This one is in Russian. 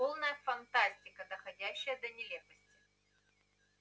полная фантастика доходящая до нелепости